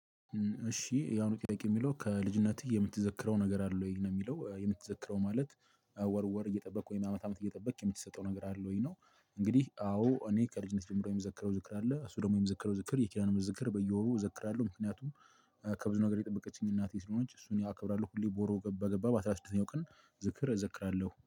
እሺ የአሁኑ ጥያቄ የሚለው ከልጅነትህ የምትዘክረው ነገር አለ ወይ ነው የሚለው የምትዘክረው ማለት? ወር ወር እየጠበቅክ ወይም አመት አመት እየጠበቅክ የምትሰጠው ነገር አለ ወይ ነው? እንግዲህ አዎ እኔ ከልጅነት ጀምሮ የምዘከረው ዝክር አለ እሱ ደግሞ የምዘከረው ዝክር የኪዳኑ ዝክር በየወሩ እዘክራለሁ። ምክንያቱም ከብዙ ነገር የጠበቀችኝ እናቴ ስለሆነች እሱን ያከብራሉ ሁሌ ወር በገባ በአስራ ስድስተኛው ቀን። ዝክር እዘክራለሁ